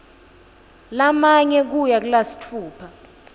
lamane kuya kulasitfupha